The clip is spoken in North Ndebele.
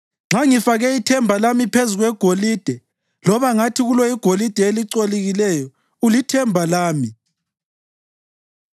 Nxa ngifake ithemba lami phezu kwegolide, loba ngathi kulo igolide elicolekileyo, ‘Ulithemba lami,’